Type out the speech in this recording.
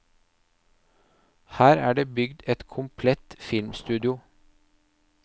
Her er det bygd et komplett filmstudio.